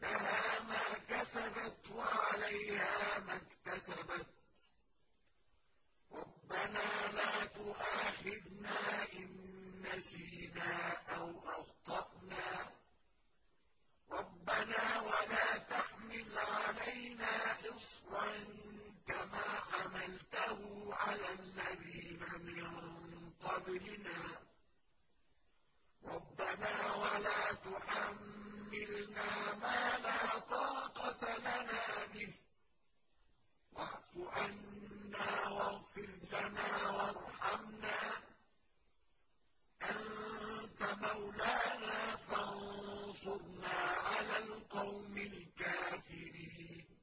لَهَا مَا كَسَبَتْ وَعَلَيْهَا مَا اكْتَسَبَتْ ۗ رَبَّنَا لَا تُؤَاخِذْنَا إِن نَّسِينَا أَوْ أَخْطَأْنَا ۚ رَبَّنَا وَلَا تَحْمِلْ عَلَيْنَا إِصْرًا كَمَا حَمَلْتَهُ عَلَى الَّذِينَ مِن قَبْلِنَا ۚ رَبَّنَا وَلَا تُحَمِّلْنَا مَا لَا طَاقَةَ لَنَا بِهِ ۖ وَاعْفُ عَنَّا وَاغْفِرْ لَنَا وَارْحَمْنَا ۚ أَنتَ مَوْلَانَا فَانصُرْنَا عَلَى الْقَوْمِ الْكَافِرِينَ